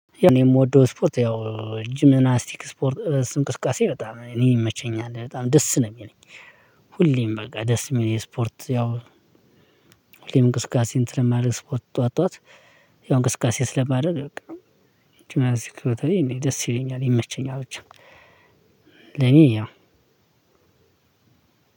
እኔ የምወደው እስፖርት ያው ጂምናስቲክ እስፖርት እንቅስቃሴ በጣም እኔ ይመቸኛል በጣም ደስ ነው ሚለኝ። ሁሌም በቃ ደስ ሚለኝ ስፖርት ያው። ሁሌም እንቅስቃሴ ስለማደርግ ስፖርት ጠዋት ጠዋት። ያው እንቅስቃሴ ስለማደርግ በቃ። ጅምናስቲክ እኔ ደስ ይለኛል ይመቸኛል ብቻ። ለኔ ያው